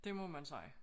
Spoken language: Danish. Det må man sige